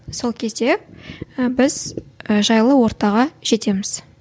сол кезде і біз і жайлы ортаға жетеміз